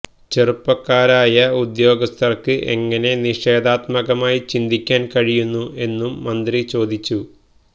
ചെറുപ്പക്കാരായ ഉദ്യോഗസ്ഥര്ക്ക് എങ്ങനെ നിഷേധാത്മകമായി ചിന്തിക്കാന് കഴിയുന്നു എന്നും മന്ത്രി ചോദിച്ചു